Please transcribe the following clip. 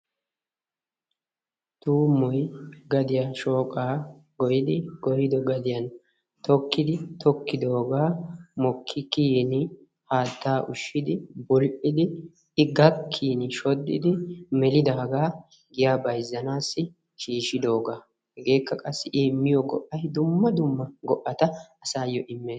Tuummoy gadiya shooqa goyidi goyyido gadiyaan tokkidi tokidooga mokki kiyin haatta ushshidi bul"iddi i gakkiin shodidi melidaaga giyaa bayzzanassi shiishshidooga. Hegakka qassi I immiyo go"ay dumma dumma go"ata asaayo immees.